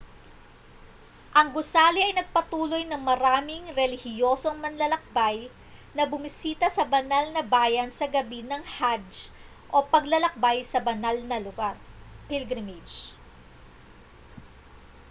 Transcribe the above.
ang gusali ay nagpatuloy ng maraming relihiyosong manlalakbay na bumisita sa banal na bayan sa gabi ng hajj o paglalakbay sa banal na lugar pilgrimage